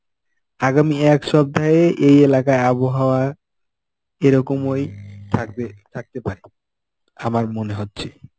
আগামী এক সপ্তাহে এই এলাকায় আবহাওয়া এরকম ওই থাকবে থাকতে পারে আমার মনে হচ্ছে.